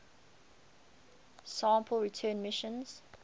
sample return missions